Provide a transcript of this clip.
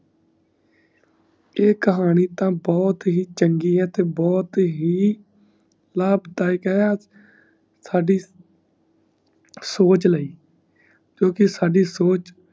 ਈ ਕਹਾਣੀ ਤਾ ਬਹੁਤ ਹੀ ਚੰਗੀ ਈ ਤੇ ਬਹੁਤ ਹੀ ਲਾਭਦਾਇਕ ਹੈ ਸਾਡੀ ਸੋਚ ਲਈ ਕਿਓਂਕਿ ਸਾਡੀ ਸੋਚ